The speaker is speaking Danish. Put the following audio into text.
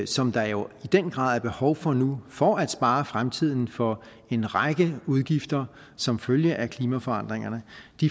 som der jo i den grad er behov for nu for at spare fremtiden for en række udgifter som følge af klimaforandringerne